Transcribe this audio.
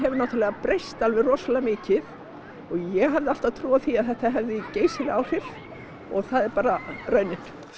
náttúrulega breyst alveg rosalega mikið og ég hefði alltaf trú á því að þetta hefði geysileg áhrif og það er bara raunin